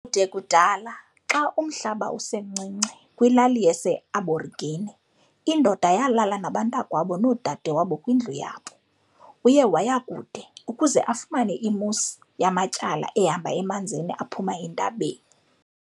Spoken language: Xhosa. Kude kudala, xa umhlaba usencinci, kwilali ye-Aborigine, indoda yalala nabantakwabo noodadewabo kwindlu yabo. Uye waya kude, ukuze afumane i-moose yamatyala ehamba emanzini aphuma entabeni.